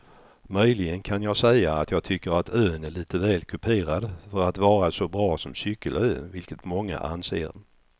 Möjligen kan jag säga att jag tycker att ön är lite väl kuperad för att vara så bra som cykelö vilket många anser.